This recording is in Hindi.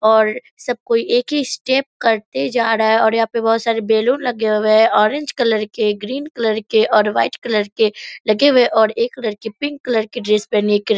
और सब कोई एक ही स्टेप करते जा रहा है और यहाँ पे बहुत सारे बैलून लगे हुए हैं ऑरेंज कलर के ग्रीन कलर के और व्हाइट कलर के लगे हुए हैं और एक लड़की पिंक कलर की ड्रेस पहनी है।